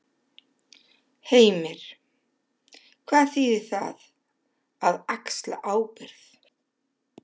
Heimir: Hvað þýðir það, að axla ábyrgð?